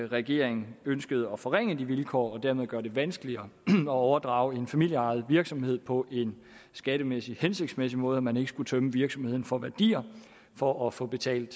regeringen ønskede at forringe de vilkår og dermed gøre det vanskeligere at overdrage en familieejet virksomhed på en skattemæssig hensigtsmæssig måde så man ikke skulle tømme virksomheden for værdier for at få betalt